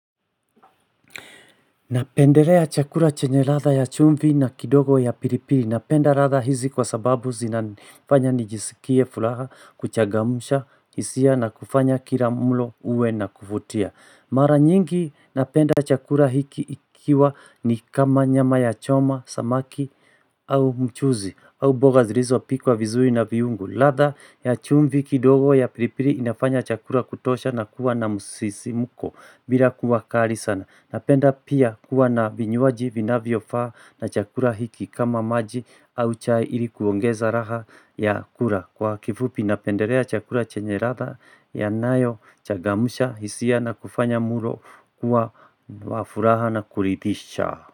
Napendelea chakula chenye ladha ya chumvi na kidogo ya piripiri. Napenda ladha hizi kwa sababu zinafanya nijisikie furaha kuchagamsha hisia na kufanya kilamlo uwe na kufutia. Mara nyingi napenda chakula hiki ikiwa ni kama nyama ya choma, samaki au mchuzi au mboga zilizo pikwa vizuri na viungu. Ladha ya chumvi kidogo ya pilipili inafanya chakula kutosha na kuwa na musisimuko bila kuwa kali sana. Napenda pia kuwa na vinywaji vina viyofaa na chakula hiki kama maji au chai ilikuongeza raha ya kula Kwa kifupi napenderea chakula chenye ladha ya nayo chagamsha hisia na kufanya mlo kuwa wafuraha na kulidisha.